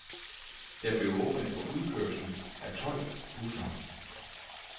Der blev åbnet for udkørsel af tolv busser.